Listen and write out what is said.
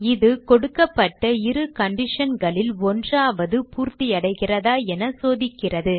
இது கொடுக்கப்பட்ட இரு conditionகளில் ஒன்றாவது பூர்த்தியடைகிறதா என சோதிக்கிறது